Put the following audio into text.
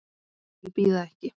Þeir bíða ekki.